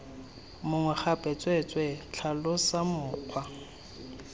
mongwe gape tsweetswee tlhalosa mokgwa